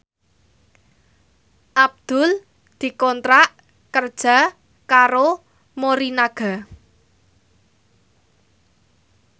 Abdul dikontrak kerja karo Morinaga